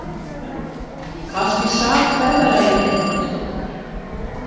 Kannski sat ferðalagið eitthvað í okkur